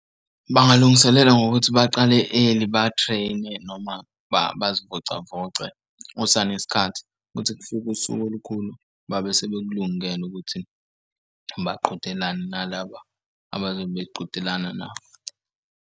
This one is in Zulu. Bangalungiselela ngokuthi baqale early ba-train-e noma bazivocavoce kusanesikhathi ukuthi kufike usuku olukhulu babe sebekulungele ukuthi baqhudelane nalaba abazobe beqhudelana nabo.